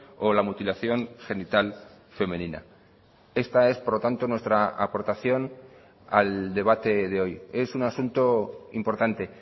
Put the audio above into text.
o la mutilación genital femenina esta es por lo tanto nuestra aportación al debate de hoy es un asunto importante